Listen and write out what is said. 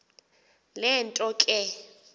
le nto ke